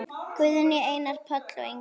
Guðný, Einar, Páll og Ingunn.